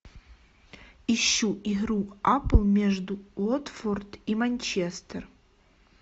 ищу игру апл между уотфорд и манчестер